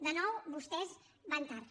de nou vostès van tard